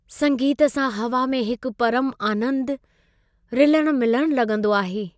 संगीत सां हवा में हिकु परमु आनंदु रिलणु मिलणु लॻंदो आहे।